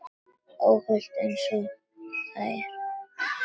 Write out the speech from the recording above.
Óhult einsog þær.